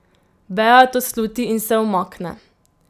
Bea to sluti in se umakne.